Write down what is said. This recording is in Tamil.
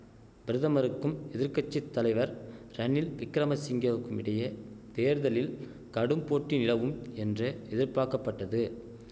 பிரதமருக்கும் எதிர்க்கட்சித்தலைவர் ரணில் விக்கிரம சிங்கேவுக்குமிடையே தேர்தலில் கடும்போட்டி நிலவும் என்று எதிர்பார்க்கப்பட்டது